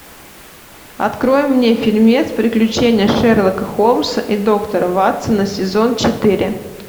открой мне фильмец приключения шерлока холмса и доктора ватсона сезон четыре